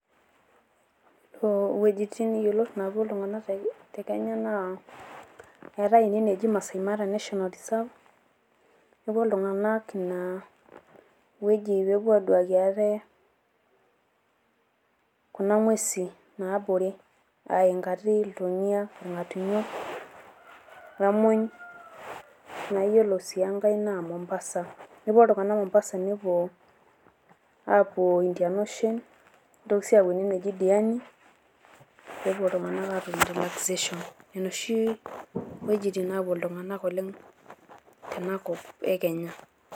Iyiolo wuejitin yiolot naapuo iltung'anak te Kenya naa eetai nye eneji Masai Mara National Reserve, epuo iltung'anak ina wueji pee epuo aaduaki ate kuna ng'uesi naabore a inkati, iltomia, irng'atunyo o emuny. Naa iyiolo sii enkai naa Mombasa, epuo iltung'anak Mombasa neepuo aapuo Indian Ocean, nitoki sii apuo ene neji Diani, nepuo iltung'anak aatum relaxation. Nena oshi iwuejitin naapuo illtung'anak oleng' tenakop e Kenya.